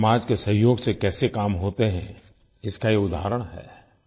समाज के सहयोग से कैसे काम होते हैं इसका ये उदाहरण है